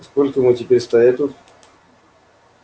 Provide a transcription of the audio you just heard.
и сколько ему теперь стоять тут